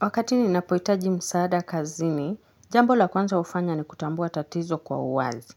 Wakati ninapohitaji msaada kazini, jambo la kwanza hufanya ni kutambua tatizo kwa uwazi.